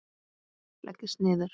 Leggist niður.